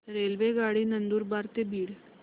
रेल्वेगाडी नंदुरबार ते बीड